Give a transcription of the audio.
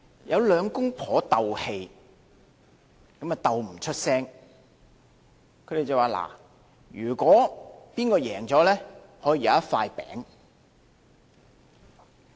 有兩夫妻鬥氣，鬥不說話，他們說："勝的一方可以有一塊餅"。